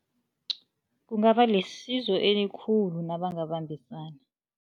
Kungaba lisizo elikhulu nabangabambisana.